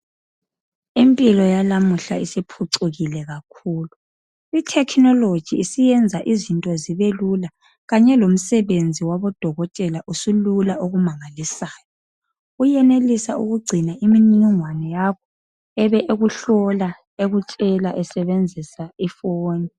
Impilo yanamuhla isiphucukile kakhulu. ITechnology isiyenza izinto zibe lula kanye lomsebenzi wabo dokotela usulula okumangalisayo. Uyenenelisa ukugcina imininingwana yakho ebe ekuhlola, ekutshela esebenzisa ifoni